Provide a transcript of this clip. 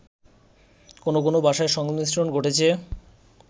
কোন কোন ভাষার সংমিশ্রন ঘটেছে